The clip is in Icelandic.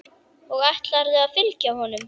Og ætlarðu að fylgja honum?